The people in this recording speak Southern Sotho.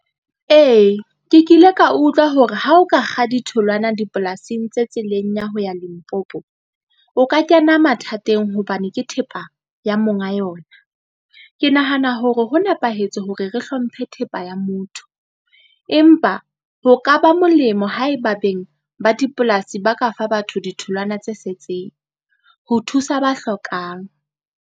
Ee, ke kile ka utlwa hore ha o ka kga ditholwana dipolasing tse tseleng ya ho ya Limpopo, o ka kena mathateng hobane ke thepa ya monga yona. Ke nahana hore ho nepahetse hore re hlomphe thepa ya motho, empa ho ka ba molemo haeba beng ba dipolasi ba ka fa batho ditholwana tse setseng, ho thusa ba hlokang.